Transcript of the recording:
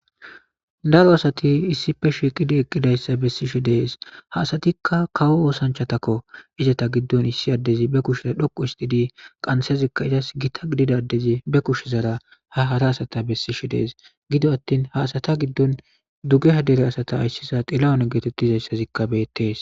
daro asati issife shiqidi eqqidayssa bessishe dees ha asatikka kawo oosanchatakko izata giddon issi addezi be kushezaa dhoqu istidi qansezikka izas gita gididadezi be kushezara ha hara asata bessishe dees gido attin haasata giddon dugeha dere asata ayssisa xilawon geetettizayssazikka beettees